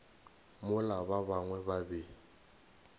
mola ba bangwe ba be